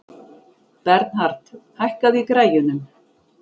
Bernhard, hækkaðu í græjunum.